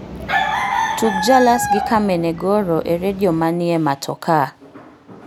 tug jalas gi kameme goro e redio manie matokaa